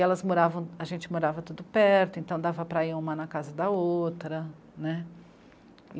E elas moravam... a gente morava tudo perto, então dava para ir uma na casa da outra, né.